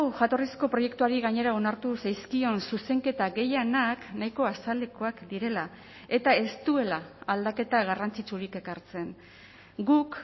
jatorrizko proiektuari gainera onartu zaizkion zuzenketa gehienak nahiko azalekoak direla eta ez duela aldaketa garrantzitsurik ekartzen guk